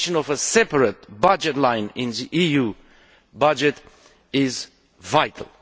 The creation of a separate budget line in the EU budget is vital.